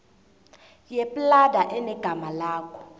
yeplada enegama lakho